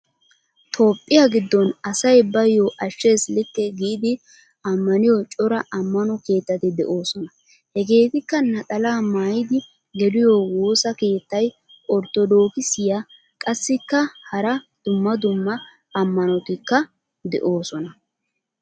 Toophphiya giddon asay bayo ashshees likke giidi ammaniyo cora ammano keettati de'oosona. Hegeetikka naxalaa maayidi geliyo woossa keettay orttodookissiyaa qassikka hara dumma dumma ammmanotikka de'oosona.